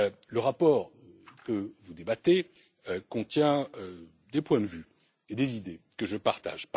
Le rapport que vous débattez contient des points de vue et des idées que je partage.